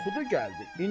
Oxudu gəldi.